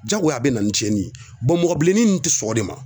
Jagoya a be na ni tiɲɛni ye mɔgɔ bilennin nunnu te sɔn o de ma.